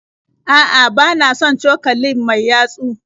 A'a bana son cokalin mai yatsu